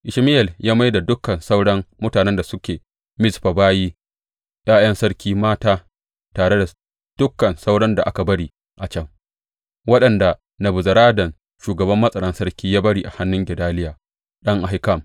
Ishmayel ya mai da dukan sauran mutanen da suke Mizfa bayi ’ya’yan sarki mata tare da dukan sauran da aka bari a can, waɗanda Nebuzaradan shugaban matsaran sarki ya bari a hannun Gedaliya ɗan Ahikam.